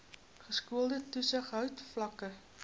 geskoolde toesighouding vlakke